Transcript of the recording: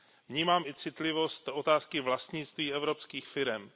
Vnímám i citlivost otázky vlastnictví evropských firem.